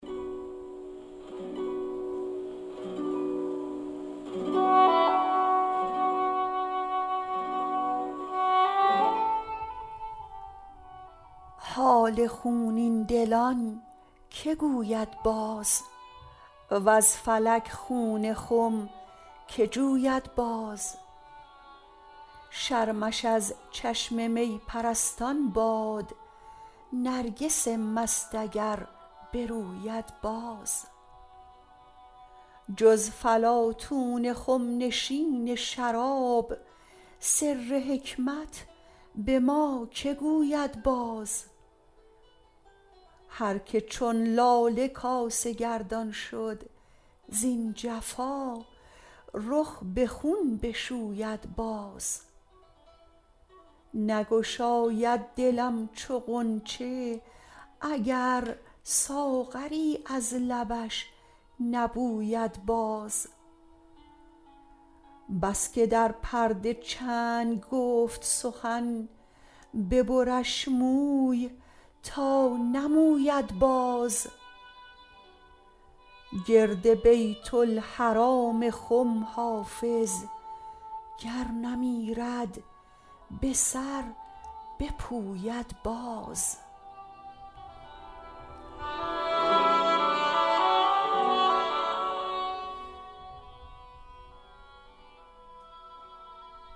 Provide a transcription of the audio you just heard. حال خونین دلان که گوید باز وز فلک خون خم که جوید باز شرمش از چشم می پرستان باد نرگس مست اگر بروید باز جز فلاطون خم نشین شراب سر حکمت به ما که گوید باز هر که چون لاله کاسه گردان شد زین جفا رخ به خون بشوید باز نگشاید دلم چو غنچه اگر ساغری از لبش نبوید باز بس که در پرده چنگ گفت سخن ببرش موی تا نموید باز گرد بیت الحرام خم حافظ گر نمیرد به سر بپوید باز